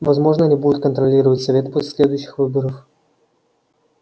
возможно они будут контролировать совет поле следующих выборов